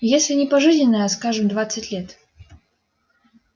если и не пожизненное а скажем двадцать лет